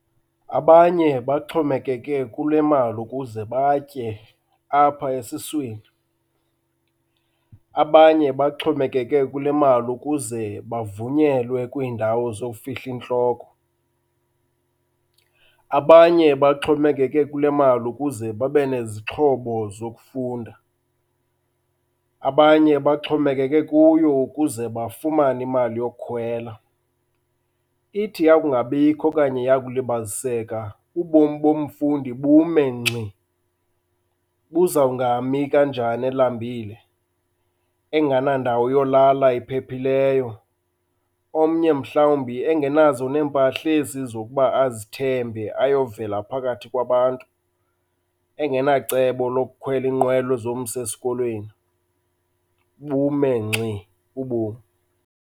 Abanye baxhomekeke kule mali ukuze batye apha esiswini, abanye baxhomekeke kule mali ukuze bavunyelwe kwiindawo zowufihla intloko. Abanye baxhomekeke kule mali ukuze babe nezixhobo zokufunda, abanye baxhomekeke kuyo ukuze bafumane imali yokukhwela. Ithi yakungabikho okanye yakulibaziseka ubomi bomfundi bume ngxi, buzawungami kanjani elambile enganandawo yolala ephephileyo. Omnye mhlawumbi engenazo neempahla ezi zokuba azithembe ayovela phakathi kwabantu, engenacebo lokukhwela inqwelo ezomsa esikolweni, bume ngxi ubomi.